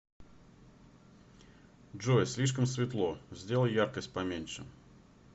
джой слишком светло сделай яркость поменьше